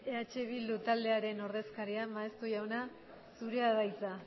entzun duzue eh bildu taldearen ordezkaria maeztu jauna zurea da hitza